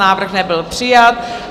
Návrh nebyl přijat.